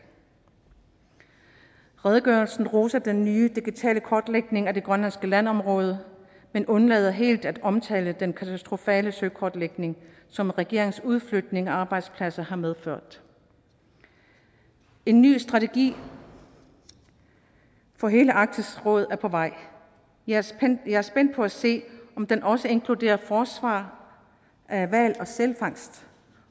redegørelsen roser den nye digitale kortlægning af det grønlandske landområde men undlader helt at omtale den katastrofale søkortlægning som regeringens udflytning af arbejdspladser har medført en ny strategi for hele arktisk råd er på vej og jeg er spændt på at se om den også inkluderer et forsvar af hval og sælfangst